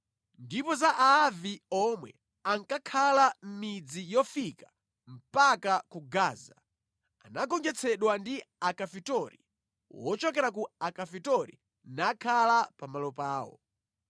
Ndipo za Aavi omwe ankakhala mʼmidzi yofika mpaka ku Gaza, anagonjetsedwa ndi Akafitori wochokera ku Akafitori nakhala pamalo pawo).